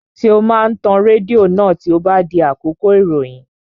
Ṣé o máa tan rédíò náà tí ó bá di àkókò ìròyìn?